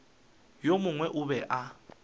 yo mongwe o be a